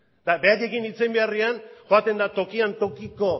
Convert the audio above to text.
eta beraiekin hitz egin beharrean joaten da tokian tokiko